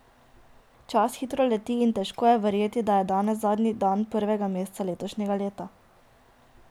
Čas hitro leti in težko je verjeti, da je danes zadnji dan prvega meseca letošnjega leta.